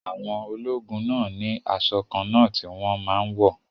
Àwọn ológun náà ni asọ kànna ti wón máa n wọ̀